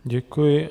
Děkuji.